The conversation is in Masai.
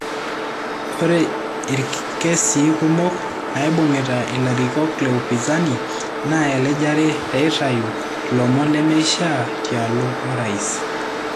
Ore ikesii kumok naibungita ilarikok leupinzani naa elejare peitayu lomon nemeishaa tialo orais.